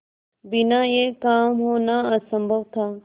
बिना यह काम होना असम्भव था